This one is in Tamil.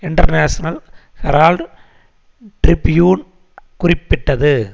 இன்டர்நேஷனல் ஹெரால்டு டிரிபியூன் குறிப்பிட்டது